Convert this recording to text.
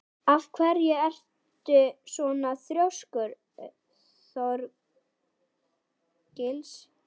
Af hverju ertu svona þrjóskur, Þorgils?